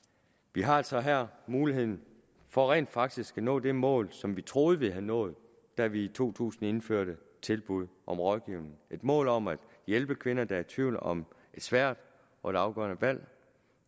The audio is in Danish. vi har altså her muligheden for rent faktisk at nå det mål som vi troede vi havde nået da vi i to tusind indførte tilbud om rådgivning et mål om at hjælpe kvinder der er i tvivl om et svært og et afgørende valg